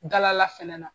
Dala fɛnɛ na